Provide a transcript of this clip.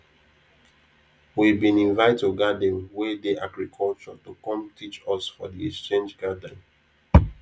we bin invite oga dem wey dey agriculture to come teach us for de exchange gathering